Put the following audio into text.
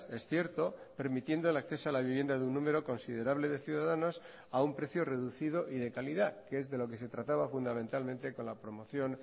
es cierto permitiendo el acceso a la vivienda de un número considerable de ciudadanos a un precio reducido y de calidad que es de lo que se trataba fundamentalmente con la promoción